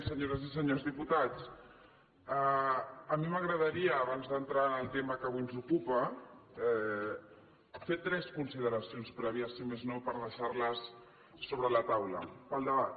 senyores i senyors diputats a mi m’agradaria abans d’entrar en el tema que avui ens ocupa fer tres consideracions prèvies si més no per deixar les sobre la taula per al debat